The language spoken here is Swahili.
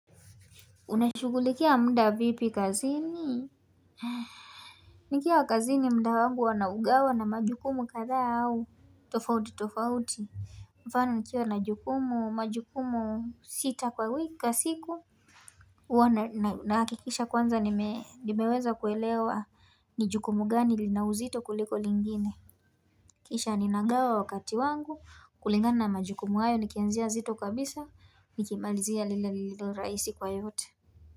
Unashughulikia mda vipi kazini nikiwa kazini muda wangu huwa naugawa na majukumu kadhaa au tofauti tofauti. Mfano nikiwa na jukumu majukumu sita kwa wiki siku. Huwa nahakikisha kwanza nimeweza kuelewa ni jukumu gani lina uzito kuliko lingine Kisha ninagawa wakati wangu kulingana na majukumu hayo nikianzia zito kabisa nikimalizia lile lililo raihsi kwa yote.